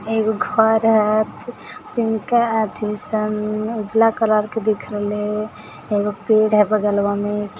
एगो घर है अथि पिंका अथि सन उजला कलर का दिखरहले है। एगो पेड़ है बगलवा मे।